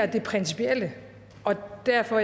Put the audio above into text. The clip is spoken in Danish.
det principielle og det er derfor